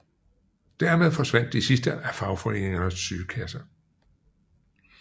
Dermed forsvandt de sidste af fagforeningernes sygekasser